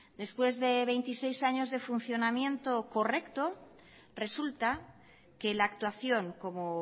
después de veintiséis años de funcionamiento correcto resulta que la actuación como